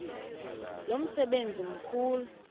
lo msebenzi mkhulu